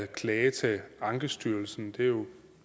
klage til ankestyrelsen det er jo